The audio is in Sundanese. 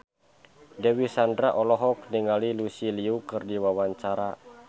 Dewi Sandra olohok ningali Lucy Liu keur diwawancara